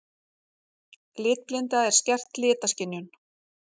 Litblinda er skert litaskynjun.